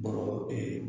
Bɔgɔ ee